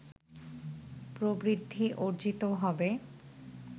প্রবৃদ্ধি অর্জিত হবে